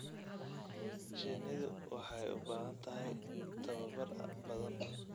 Shinnidu waxay u baahan tahay tababar badan.